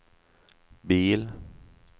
bil